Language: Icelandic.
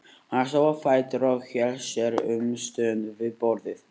Hann stóð á fætur og hélt sér um stund við borðið.